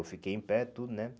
Eu fiquei em pé, tudo, né?